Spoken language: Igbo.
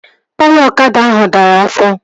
Taya ọkada ahụ dara afọ